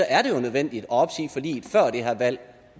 er det jo nødvendigt at opsige forliget før det her valg